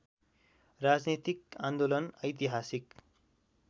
राजनीतिक आन्दोलन ऐतिहासिक